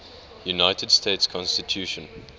united states constitution